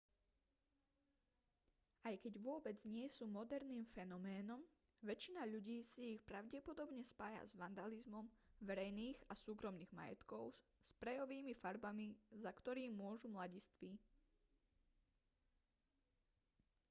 aj keď vôbec nie sú moderným fenoménom väčšina ľudí si ich pravdepodobne spája s vandalizmom verejných a súkromných majetkov sprejovými farbami za ktorý môžu mladiství